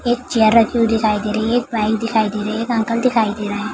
एक चेयर रखी हुई दिखाई दे रही है एक बाइक दिखाई दे रही है एक अंकल दिखाई दे रहे है ।